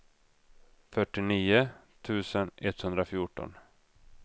fyrtionio tusen etthundrafjorton